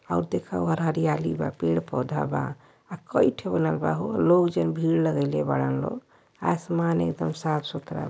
हऊ देखा ओहर हरियाली बा पेड़ पौधा आ कई ठे ओलग बा हो। लोग जन भीड़ लगइ ले बडान लोग। आसमान एदम साफ सुथरा --